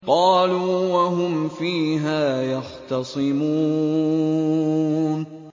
قَالُوا وَهُمْ فِيهَا يَخْتَصِمُونَ